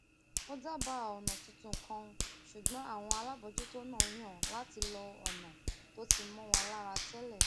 ó dábàá ònà tuntun kan ṣùgbọn àwọn alábòójútó náà yàn láti lo ònà tó ti mó wọn lára télè